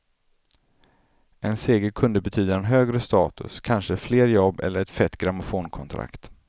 En seger kunde betyda en högre status, kanske fler jobb eller ett fett grammofonkontrakt.